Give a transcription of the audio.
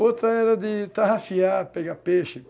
Outra era de tarrafiar, pegar peixe.